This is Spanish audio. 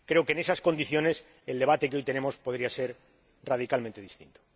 Creo que, en esas condiciones, el debate que hoy tenemos podría ser radicalmente distinto.